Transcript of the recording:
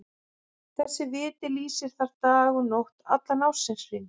Þessi viti lýsir þar dag og nótt allan ársins hring.